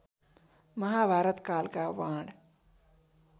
महाभारत कालका वाण